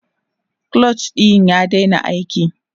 clutch ɗin ya daina aiki